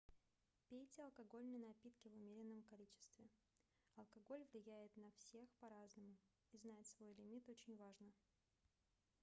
пейте алкогольные напитки в умеренном количестве алкоголь влияет на всех по-разному и знать свой лимит очень важно